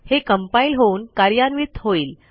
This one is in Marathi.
हे compileहोऊन कार्यान्वित होईल